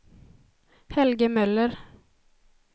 Helge Möller